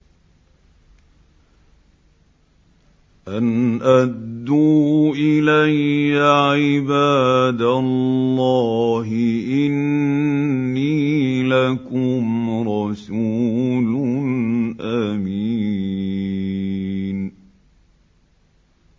أَنْ أَدُّوا إِلَيَّ عِبَادَ اللَّهِ ۖ إِنِّي لَكُمْ رَسُولٌ أَمِينٌ